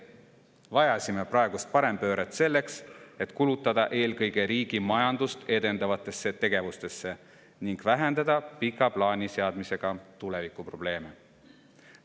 Vajasime praegust parempööret selleks, et kulutada raha eelkõige riigi majandust edendavateks tegevusteks ning vähendada pika plaani seadmisega tulevikuprobleeme.